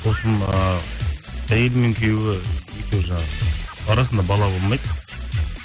сосын ыыы әйел мен күйеуі екеуі жаңағы арасында бала болмайды